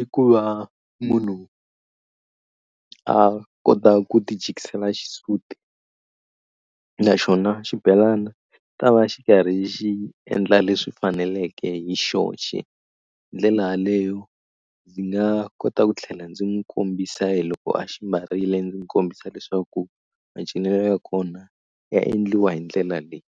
i ku va munhu a kota ku ti jikisela xisuti naxona xibelana ta va xi karhi xi endla leswi faneleke hi xoxe ndlela leyo ndzi nga kota ku tlhela ndzi n'wu kombisa loko a xi mbarile ndzi n'wu kombisa leswaku macinelo ya kona ya endliwa hi ndlela leyi.